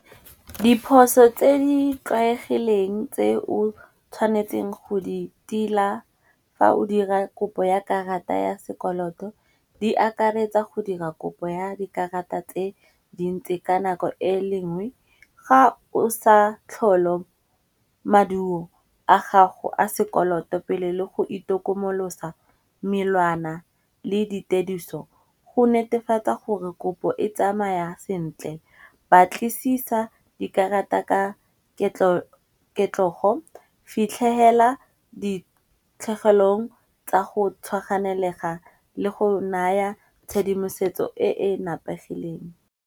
Diphoso tse di tlwaegileng tse o tshwanetseng go di tila fa o dira kopo ya karata ya sekoloto di akaretsa go dira kopo ya dikarata tse dintsi ka nako e lengwe. Ga o sa tlholo maduo a gago a sekoloto pele le go itokomolosa, melawana le dituediso go netefatsa gore kopo e tsamaya sentle. Batlisisa dikarata ka ketlogo, fitlhegela ditlhegelong tsa go tshwaganelega le go naya tshedimosetso e e napegileng.